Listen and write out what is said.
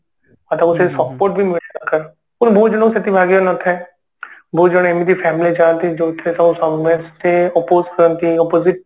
ଆଉ ତାଙ୍କର କେହି support ବି ନିଅନ୍ତି ନି ବହୁତ ଜଣଙ୍କ ଭାଗ୍ୟରେ ସେତିକି ନ ଥାଏ ବହୁତ ଜଣ ଏମିତି family ଥାନ୍ତି ଯୋଉଥିରେ ତାଙ୍କ ସମସ୍ତେ ତାଙ୍କର oppose କରନ୍ତି opposite